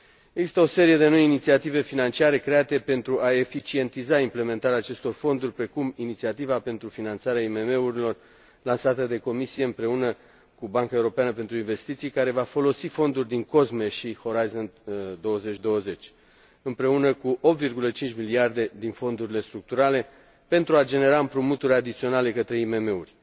Există o serie de noi inițiative financiare create pentru a eficientiza implementarea acestor fonduri, precum Inițiativa pentru finanțarea IMM urilor, lansată de Comisie împreună cu Banca Europeană de Investiții, care va folosi fonduri din COSME și Orizont 2020, împreună cu 8,5 miliarde din fondurile structurale, pentru a genera împrumuturi adiționale către IMM uri.